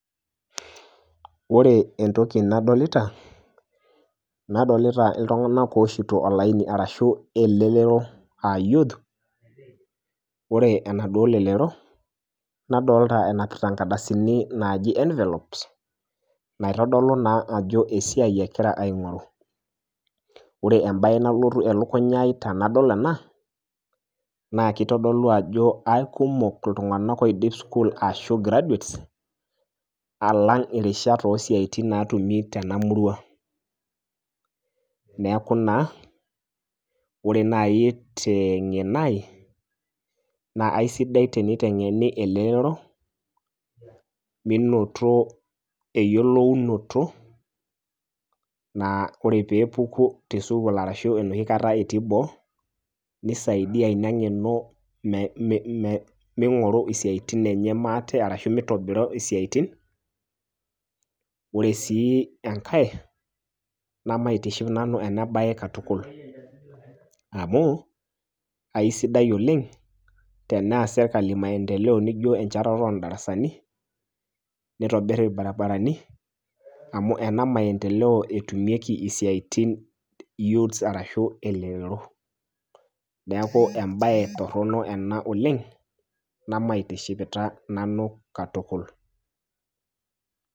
Ore entoki nadolita, nadolita iltung'anak owoshito olaini arashu elelero ah youth, ore enaduo lelero, nadolta enapita nkardasini naaji envelopes ,naitodolu naa ajo esiai egira aing'oru. Ore ebae nalotu elukunya ai tenadol ena, naa kitodolu ajo aikumok iltung'anak oidip sukuul ashu graduates, alang' irishat osiaitin natumi tenamurua. Neeku naa, ore nai teng'eno ai, na aisidai teniteng'eni elelero, minoto eyiolounoto, naa ore pepuku tesukuul arashu enoshi kata etii boo, nisaidia ina ng'eno ming'oru isiaitin enye maate, arashu mitobira isiaitin. Ore si enkae, namaitiship nanu enabae katukul. Amu, aisidai oleng',tenees sirkali maendeleo nijo enchetare odarasani, nitobir irbarabarani, amu ena maendeleo etumieki isiaitin youths arashu elelero. Neeku ebae torronok ena oleng', namaitishipita nanu katukul.